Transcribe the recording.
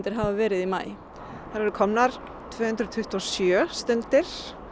hafa verið í maí það eru komnar tvö hundruð tuttugu og sjö stundir